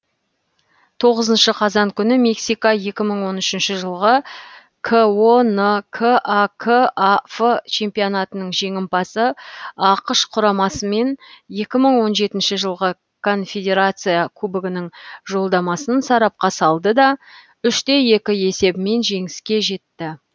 тоғызыншы қазан күні мексика екі мың он үшінші жылғы конкакаф чемпионатының жеңімпазы ақш құрамасымен екі мың он жетінші жылғы конфедерация кубогының жолдамасын сарапқа салды да үш те екі есебімен жеңіске жетті